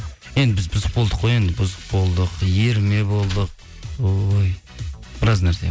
енді біз бұзық болдық қой енді бұзық болдық ерме болды ой біраз нәрсе